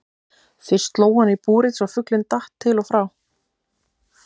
Fyrst sló hann í búrið svo fuglinn datt til og frá.